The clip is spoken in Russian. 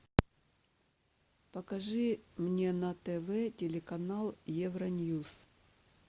покажи мне на тв телеканал евроньюс